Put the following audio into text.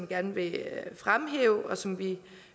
gerne vil fremhæve og som vi